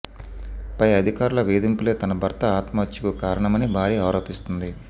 పై అధికారుల వేధింపులే తన భర్త ఆత్మహత్యకు కారణమని భార్య ఆరోపిస్తోంది